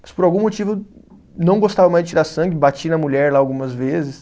Mas por algum motivo não gostava mais de tirar sangue, bati na mulher lá algumas vezes.